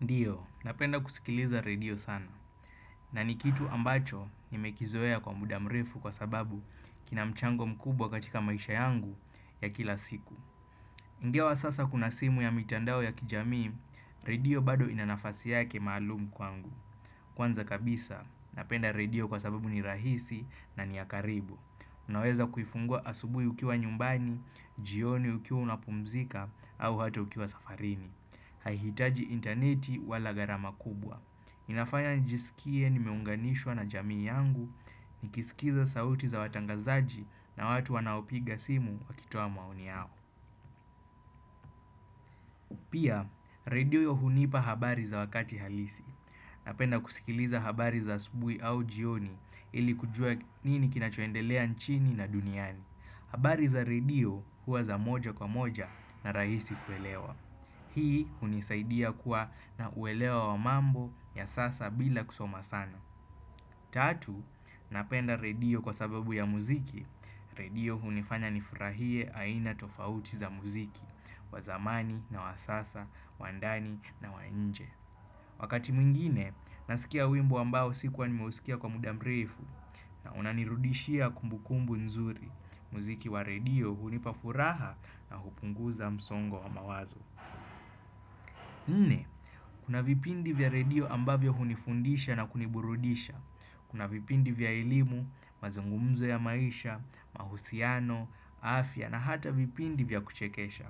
Ndiyo, napenda kusikiliza redio sana. Na ni kitu ambacho nimekizoea kwa muda mrefu kwa sababu kina mchango mkubwa katika maisha yangu ya kila siku. Ingawa sasa kuna simu ya mitandao ya kijamii, redio bado inanafasi yake maalumu kwangu. Kwanza kabisa, napenda redio kwa sababu ni rahisi na ni ya karibu. Unaweza kuifungua asubuhi ukiwa nyumbani, jioni ukiwa unapumzika au hata ukiwa safarini. Haihitaji intaneti wala gharama kubwa inafanya njisikie nimeunganishwa na jamii yangu nikisikiza sauti za watangazaji na watu wanaopiga simu wakitoa maoni yao Pia, redio hunipa habari za wakati halisi Napenda kusikiliza habari za asubuhi au jioni ili kujua nini kinachoendelea nchini na duniani habari za redio huwa za moja kwa moja na rahisi kuelewa Hii hunisaidia kuwa na uelewa wa mambo ya sasa bila kusoma sana. Tatu, napenda redio kwa sababu ya muziki. Redio hunifanya nifurahie aina tofauti za muziki, wa zamani na wa sasa, wa ndani na wa nje. Wakati mwingine, nasikia wimbo ambao sikuwa nimusikia kwa muda mrefu na unanirudishia kumbukumbu nzuri. Muziki wa redio hunipa furaha na hupunguza msongo wa mawazo. Kuna vipindi vya radio ambavyo hunifundisha na kuniburudisha. Kuna vipindi vya elimu, mazungumzo ya maisha, mahusiano, afya na hata vipindi vya kuchekesha.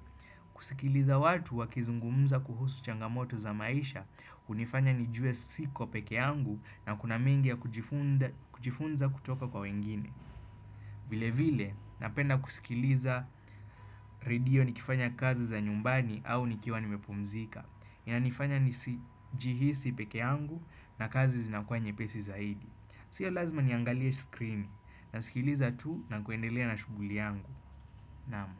Kusikiliza watu wakizungumza kuhusu changamoto za maisha hunifanya nijue siko pekee yangu na kuna mengi ya kujifunza kutoka kwa wengine. Vile vile, napenda kusikiliza redio nikifanya kazi za nyumbani au nikiwa nimepumzika. Inanifanya nisijihisi pekee yangu na kazi zinakuwa nyepesi zaidi. Sio lazima niangalia screen na sikiliza tu na kuendelea na shughuli yangu. Naam.